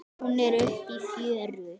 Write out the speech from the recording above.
Hún er uppi í fjöru.